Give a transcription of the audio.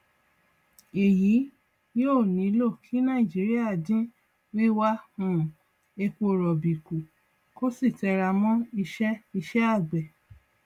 èyí yóò ní lọ kí nàìjíríà dín wíwà um epo rọbì kú kó sì tẹra mọ ìṣe ìṣe àgbẹ